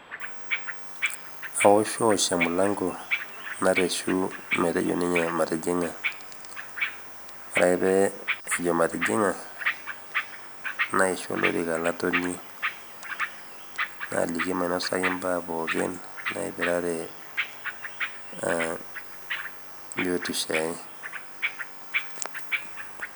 kawoshiwosh emilango nareshu metejo ninye matijing'a wore ake pejo matijing'a naishoo olorika latonie naliki mainosaki mbaa naipirare biotisho ai